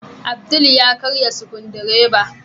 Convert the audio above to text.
Abdul ya karye Sukudireba.